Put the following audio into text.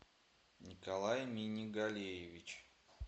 николай минигалеевич